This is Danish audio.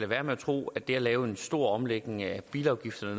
være med at tro at det at lave en stor omlægning af bilafgifterne